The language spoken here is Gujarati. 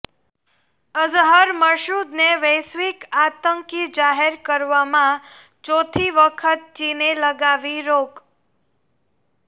અઝહર મસૂદને વૈશ્વિક આતંકી જાહેર કરવામાં ચોથી વખત ચીને લગાવી રોક